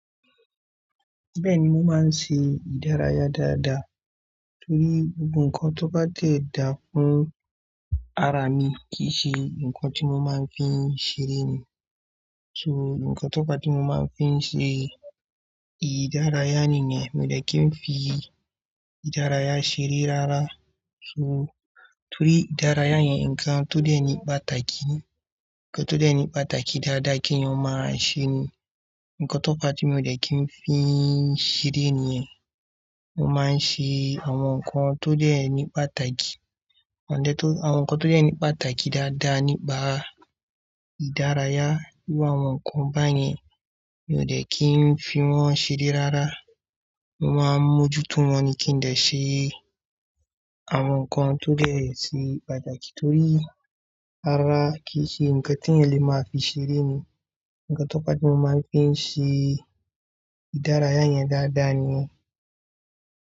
Bẹ́ẹ̀ni, mo máa ń ṣe ìdárayá dáadáa torí gbogbo nǹkan tó bá tẹ̀ dá fún ara mi kì í ṣe nǹkan tí mo máa ń fi ṣeré ni. So, nǹkan tó bá ti mo máa ń fi ṣe ìdárayá nìyẹn mi ò dẹ́kin fi ìdárayá ṣeré rárá. So, torí ìdárayá yẹn, nǹkan tó deni pàtàkì, nǹkan tó deni pàtàkì dáadáa kí n máa ṣe ni. Nǹkan tó fa mi ò dẹ́kin fi ṣeré nìyẹn. Mo máa ń ṣe àwọn nǹkan tó deni pàtàkì, àwọn nǹkan tó deni pàtàkì dáadáa nípa ìdárayá. Bí àwọn nǹkan bá yẹn, mi ò dẹ́kin fi wọ́n ṣeré rárá. Mo máa ń mójú tó wọn ní kí n ṣe àwọn nǹkan tó dọ̀tí pàtàkì torí rárá kì í ṣe nǹkan tí ẹnìyàn lè máa fi ṣeré ni. Nǹkan tó pàtẹ́ mo máa ń fi ṣe ìdárayá yẹn dáadáa ni.